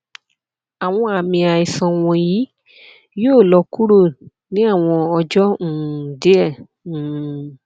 awọn aami aisan wọnyi yoo lọ kuro ni awọn ọjọ um diẹ um